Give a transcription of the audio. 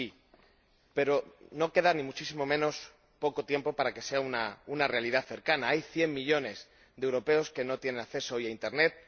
Sí, pero no queda ni muchísimo menos poco tiempo para que sea una realidad cercana hay 100 millones de europeos que no tienen acceso hoy a internet